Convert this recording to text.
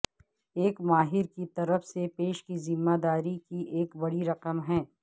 ایک ماہر کی طرف سے پیش کی ذمہ داری کی ایک بڑی رقم ہے